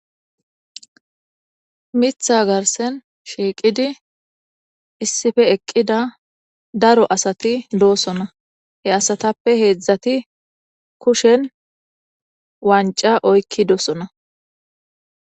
mitha garsen shiiqidi issife eqqida daro asati doosona he asatappe heedzdzati kushen wanca oykki doosona